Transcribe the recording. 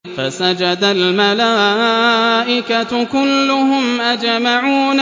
فَسَجَدَ الْمَلَائِكَةُ كُلُّهُمْ أَجْمَعُونَ